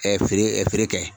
feere feere kɛ.